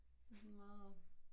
Det sådan meget